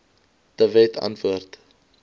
de wet antwoord